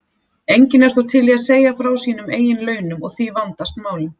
Enginn er þó til í að segja frá sínum eigin launum og því vandast málin.